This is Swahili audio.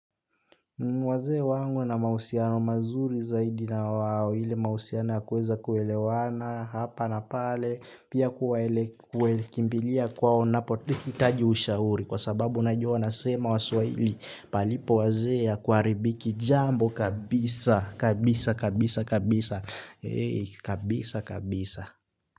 Wazee wangu wana mahusiano mazuri zaidi na wao, ile mahusiano ya kuweza kuelewana, hapa na pale, pia kuwaele, kimbilia kwao ninapohitaji ushauri, kwa sababu najua wanasema waswahili, palipo wazee hakuharibiki jambo kabisa, kabisa, kabisa, kabisa,